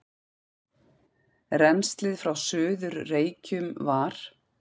Rennslið frá Suður-Reykjum var